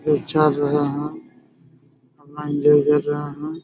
लोग चल रहे है अपना एन्जॉय कर रहे हैं।